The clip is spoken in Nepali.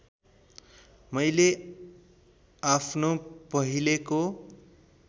मैले आफ्नो पहिलेको